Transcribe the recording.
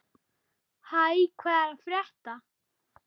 Hæ, hvað er að frétta?